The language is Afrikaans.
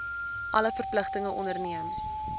alle verpligtinge onderneem